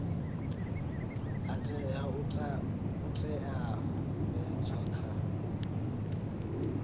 ha tea u teavhedzwa kha